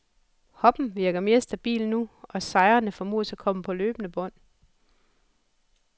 Hoppen virker mere stabil nu, og sejrene formodes at komme på løbende bånd.